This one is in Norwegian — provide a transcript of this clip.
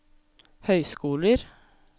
høyskoler